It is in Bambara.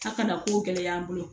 A kana ko gɛlɛya an bolo